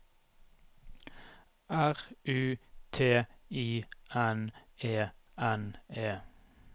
R U T I N E N E